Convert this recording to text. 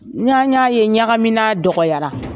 Ɲ y'a y'a ye ɲagaminan dɔgɔyara